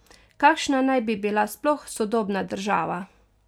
Kakšna naj bi bila sploh sodobna država?